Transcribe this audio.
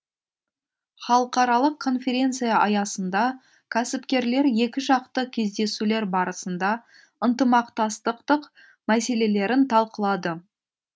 халықаралық конференция аясында кәсіпкерлер екіжақты кездесулер барысында ынтымақтастық мәселелерін талқылады